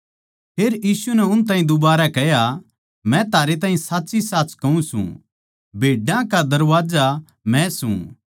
फेर यीशु नै उन ताहीं दुबारै कह्या मै थारैताहीं साच्चीसाच कहूँ सूं भेड्डां का दरबाजा मै सूं